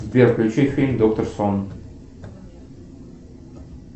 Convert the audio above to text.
сбер включи фильм доктор сон